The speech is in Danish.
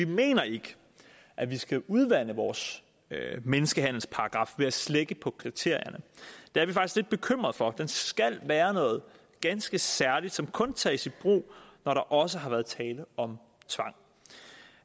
vi mener ikke at vi skal udvande vores menneskehandelsparagraf ved at slække på kriterierne det er vi faktisk lidt bekymret for den skal være noget ganske særligt som kun tages i brug når der også har været tale om tvang